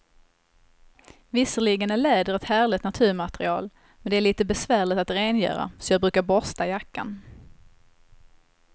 Visserligen är läder ett härligt naturmaterial, men det är lite besvärligt att rengöra, så jag brukar borsta jackan.